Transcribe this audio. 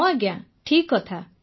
ହଁ ଆଜ୍ଞା ଠିକ୍ କଥା